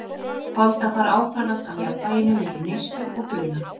Holdafar ákvarðast af jafnvæginu milli neyslu og bruna.